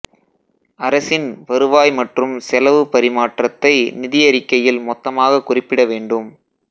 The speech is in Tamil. அரசின் வருவாய் மற்றும் செலவு பரிமாற்றத்தை நிதியறிக்கையில் மொத்தமாகக் குறிப்பிட வேண்டும்